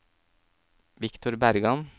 Victor Bergan